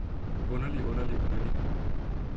underlig underlig underlig